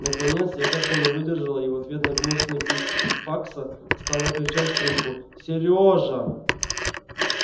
наконец я как-то не выдержала и в ответ на гнусный писк факса стала кричать в трубку серёжа